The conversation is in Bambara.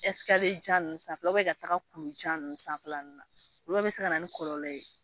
Ɛsikaliye jan ninnu sanfɛ u bɛn ka taa kulu jan sanfɛlala ninnu na olu bɛɛ be se ka na ni kɔlɔlɔ ye